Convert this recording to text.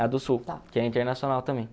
A do Sul, que é internacional também.